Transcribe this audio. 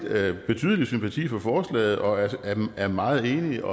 betydelig sympati for forslaget og er meget enige